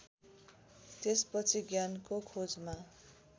त्यसपछि ज्ञानको खोजमा